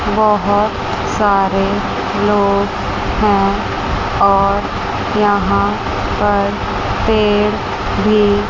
बहुत सारे लोग हैं और यहां पर पेड़ भी--